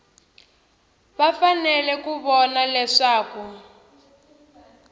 va fanele ku vona leswaku